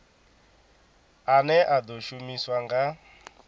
ane a ḓo shumiswa nga